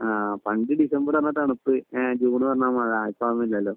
ആഹ് പണ്ട് ഡിസംബർ എന്ന് പറഞ്ഞാൽ തണുപ്പ് ജൂൺ എന്ന് പറഞ്ഞാൽ മഴ ഇപ്പൊ അതൊന്നും ഇല്ലല്ലോ